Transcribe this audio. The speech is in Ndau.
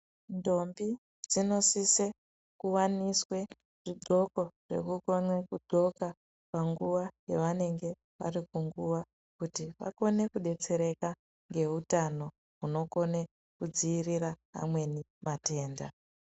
Ndombi dzinosise kuwaniswa zvidhloko zvekukona zvekudhloka panguva yawanenge vari kunguva kuti vakone kudetsereka ngehutano hunokone kudziirira amweni matenda.